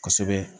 Kosɛbɛ